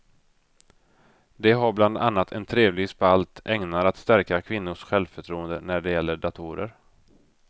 De har bland annat en trevlig spalt ägnad att stärka kvinnors självförtroende när det gäller datorer.